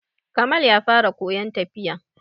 Kamal ya fara koyon tafiya.